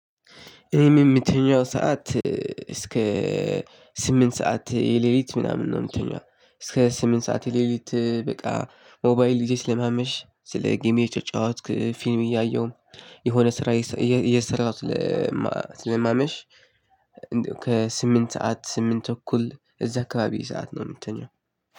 የሚተኛው ሰዓት እስከ ስምንት ሰዓት የሌሊት ምናምን ነው። ምተኛው እስከ ስምንት ሰዓት ሌሊት በቃ ሞባይል ይዤ ስለማምሽ ስለ ጌም እየተጨዋትኩ ፊልም እያየሁ የሆነ ስራ እየሰራሁ ስለማመሽ። ከስምንት ሰዓት ስምንት ተኩል እዛ አካባቢ ሰዓት ነው የምተኛው።